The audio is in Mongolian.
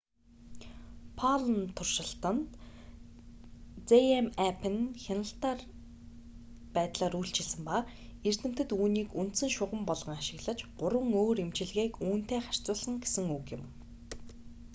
palm туршилтад zmapp нь хяналт байдлаар үйлчилсэн ба эрдэмтэд үүнийг үндсэн шугам болгон ашиглаж гурван өөр эмчилгээг үүнтэй харьцуулсан гэсэн үг юм